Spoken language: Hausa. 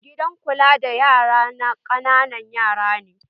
Gidan kula da yara na ƙananan yara ne